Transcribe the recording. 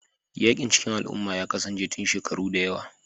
Yaƙin cikin al'umma ya kasance tun shekaru da yawa